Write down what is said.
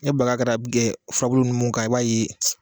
Ne baga kɛra furabulu min kan i b'a ye